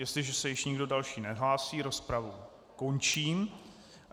Jestliže se již nikdo další nehlásí, rozpravu končím.